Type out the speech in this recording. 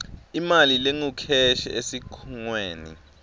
imali lengukheshi esikhungweni